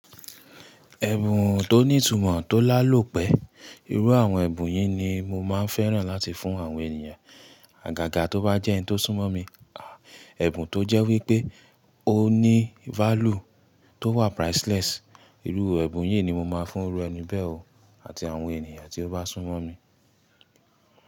Ẹ̀bùn tó ní ìtumọ̀ tó lálò pẹ ìrú àwọn ẹ̀bùn yìí ni mo máa fẹ́ràn láti fún àwọn ènìyàn. Àgàgà tó bá jẹ́ ẹni tó súnmọ́ mi, àá, ẹ̀bùn tó jẹ́ wípé ó ní value tó wà priceless. Ìrú ẹ̀bùn yìí ni mo máa fún rú ẹni bẹ́ẹ̀ o àti àwọn ènìyàn tí ó bá súnmọ́ mi.